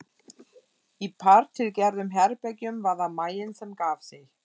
Í þartilgerðum herbergjum var það maginn sem gaf sig.